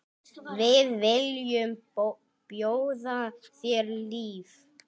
Við viljum bjóða þér líf.